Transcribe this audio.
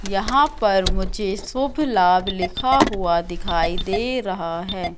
यहां पर मुझे शुभ लाभ लिखा हुआ दिखाई दे रहा हैं।